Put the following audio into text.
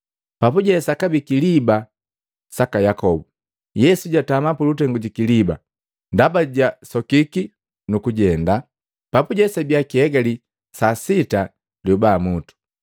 Papuje sakabii kiliba saka Yakobu, Yesu jaatama pulutengu jikiliba, ndaba jabii jusokiki nukujenda. Papuje sabiya kiegali saa sita liyoba mutu.